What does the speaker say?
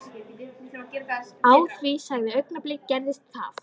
Á því sama augnabliki gerðist það.